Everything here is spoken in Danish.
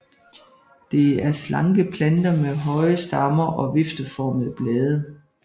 Det er slanke planter med høje stammer og vifteformede blade